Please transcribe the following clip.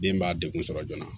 Den b'a degun sɔrɔ joona